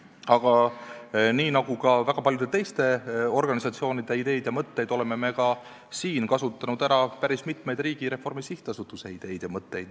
Aga nii nagu ka väga paljude teiste organisatsioonide ideid ja mõtteid, oleme kasutanud ära päris mitmeid Riigireformi SA ideid ja mõtteid.